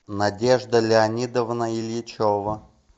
надежда леонидовна ильичева